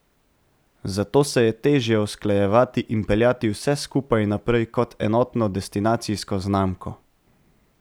Zato se je težje usklajevati in peljati vse skupaj naprej kot enotno destinacijsko znamko.